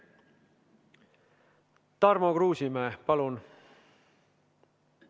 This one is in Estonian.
Tarmo Kruusimäe, palun!